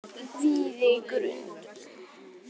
Víðigrund